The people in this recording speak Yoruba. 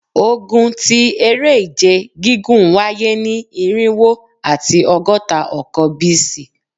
Ogun ti Ere-ije gigun waye ni irinwo ati ọgọta ọkan BC